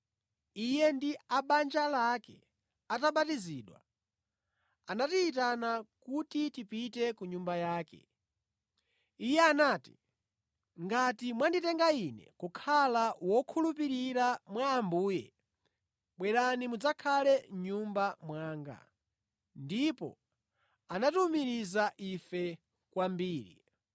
Iye ndi a mʼbanja lake atabatizidwa, anatiyitana kuti tipite ku nyumba yake. Iye anati, “Ngati mwanditenga ine kukhala wokhulupirira mwa Ambuye, bwerani mudzakhale mʼnyumba mwanga.” Ndipo anatiwumiriza ife kwambiri.